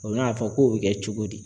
O bɛ n'a fɔ k'o bɛ kɛ cogo di